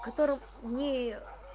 в котором не